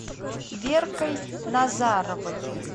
веркой назаровой